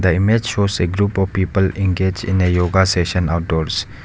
The image shows a group of people engage in a yoga session outdoors.